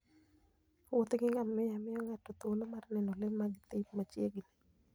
Wuoth gi ngamia miyo ng'ato thuolo mar neno le mag thim machiegni.